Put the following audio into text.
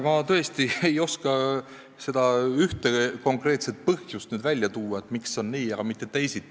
Ma tõesti ei oska seda ühte konkreetset põhjust välja tuua, miks on nii, aga mitte teisiti.